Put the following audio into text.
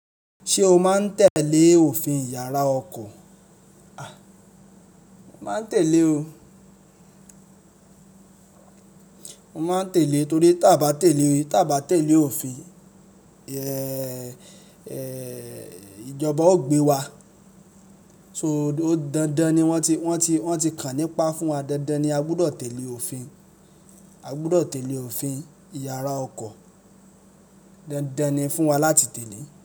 Ṣé o máa ń tẹ̀lé òfin ìyára ọkọ̀? A! Mo máa ń tẹ̀lé o. Mo máa ń tẹ̀lé torí tí a bá tẹ̀lé, tí a bá tẹ̀lé òfin, ẹẹ, ìjọba ó gbé wa. So dandan ni wọ́n ti, wọ́n ti, wọ́n ti kàn nípa fún wa. Dandan ni a gbọdọ̀ tẹ̀lé òfin. A gbọdọ̀ tẹ̀lé òfin ìyára ọkọ̀. Dandan ni fún wa láti tẹ̀lé.